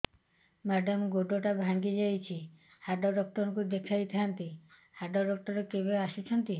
madam ଗୋଡ ଟା ଭାଙ୍ଗି ଯାଇଛି ହାଡ ଡକ୍ଟର ଙ୍କୁ ଦେଖାଇ ଥାଆନ୍ତି ହାଡ ଡକ୍ଟର କେବେ ଆସୁଛନ୍ତି